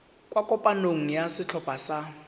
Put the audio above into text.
kwa kopanong ya setlhopha sa